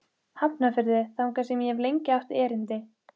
Ef þið gerið það ekki skal þess verða grimmilega hefnt.